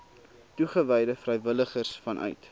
toegewyde vrywilligers vanuit